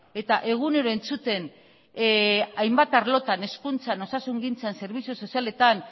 eta egunero entzuten hainbat arlotan hezkuntzan osasungintzan zerbitzu sozialetan